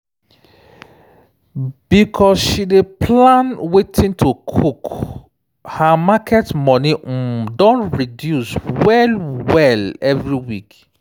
because she dey plan wetin to cook her market money um don reduce well-well every week.